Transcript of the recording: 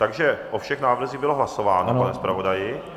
Takže o všech návrzích bylo hlasováno, pane zpravodaji?